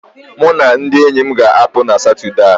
Mụ na ndị enyi m ga-apụ na Satọde a